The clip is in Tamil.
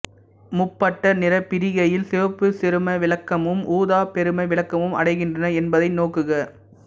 முப்பட்டக நிறப்பிரிகையில் சிவப்பு சிறும விளக்கமும் ஊதா பெரும விளக்கமும் அடைகின்றன என்பதை நோக்குக